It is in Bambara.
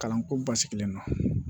Kalanko basigilen don